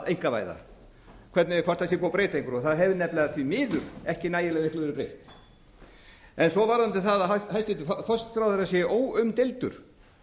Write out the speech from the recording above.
einkavæða hvort það sé búið að breyta einhverju það hefur nefnilega því miður ekki nægilega miklu verið breytt svo varðandi það að hæstvirtur forsætisráðherra sé óumdeildur